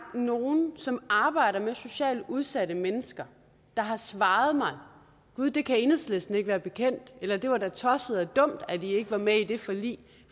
nogen som arbejder med socialt udsatte mennesker der har svaret mig gud det kan enhedslisten ikke være bekendt eller det var da tosset og dumt at de ikke var med i det forlig